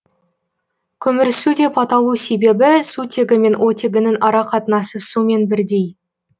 көмірсу деп аталу себебі сутегі мен оттегінің арақатынасы сумен бірдей